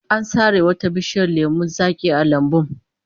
An sare wata bishiyar lemon zaki a lambun